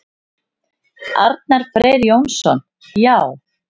Arnar Freyr Jónsson: Já.